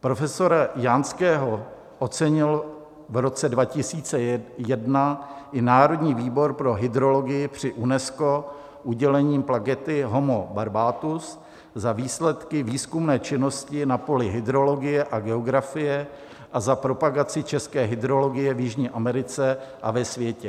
Profesora Janského ocenil v roce 2001 i Národní výbor pro hydrologii při UNESCO udělením plakety Homo Barbatus za výsledky výzkumné činnosti na poli hydrologie a geografie a za propagaci české hydrologie v Jižní Americe a ve světě.